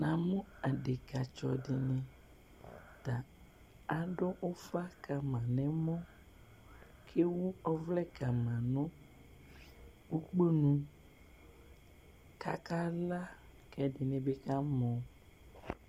Namʋ adeka tsɔ dini adʋ ufz kama nʋ ɛmɔ kʋ ewʋ ɔvlɛ kama nʋ ʋkponʋ kʋ akala kʋ ɛdibi ka mɔ